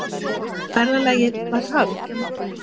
Ferðalagið var hafið.